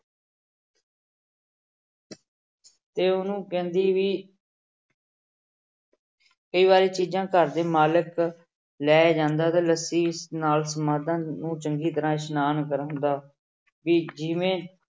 ਤੇ ਉਹਨੂੰ ਕਹਿੰਦੀ ਵੀ ਕਈ ਵਾਰੀ ਚੀਜ਼ਾਂ ਘਰ ਦੇ ਮਾਲਕ ਲੈ ਜਾਂਦਾ ਤੇ ਲੱਸੀ ਨਾਲ ਸਮਾਧਾਂ ਨੂੰ ਚੰਗੀ ਤਰ੍ਹਾਂ ਇਸਨਾਨ ਕਰਵਾਉਂਦਾ ਵੀ ਜਿਵੇਂ